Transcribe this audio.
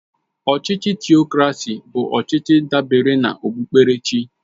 Ọchịchị Tịokracy bụ ọchịchị dabere na okpukperechi